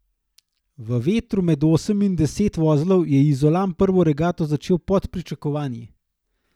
V vetru med osem in deset vozlov je Izolan prvo regato začel pod pričakovanji.